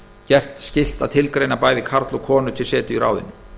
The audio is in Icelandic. gert skylt að tilgreina bæði karl og konu til setu í ráðinu